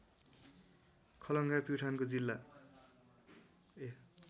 खलङ्गा प्युठानको जिल्ला